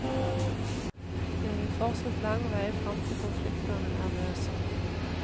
Det er fortsatt lang vei frem til konfliktene er løst.